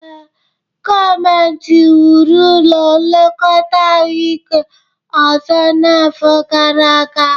Ee, gọọmentị wuru ụlọ nlekọta ahụike ọzọ n'afọ gara aga